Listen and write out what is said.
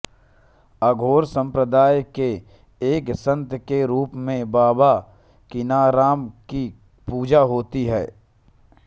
अघोर संप्रदाय के एक संत के रूप में बाबा किनाराम की पूजा होती है